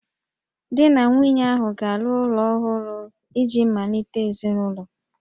Di na nwunye ahụ ga-arụ ụlọ ọhụrụ iji malite ezinụlọ